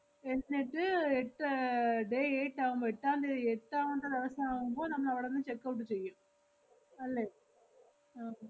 എന്‍~ എ~ ദ്~ എത്ര അഹ് day eight ആവുമ്പം എട്ടാം തീയതി എട്ടാമത്തെ ദെവസം ആവുമ്പൊ നമ്മളവടന്ന് checkout ചെയ്യും അല്ലേ ആഹ്